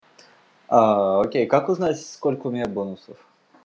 окей как узнать сколько у меня бонусов